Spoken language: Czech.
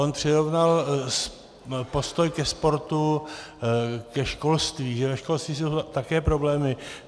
On přirovnal postoj ke sportu ke školství, že ve školství jsou také problémy.